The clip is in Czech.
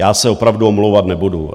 Já se opravdu omlouvat nebudu.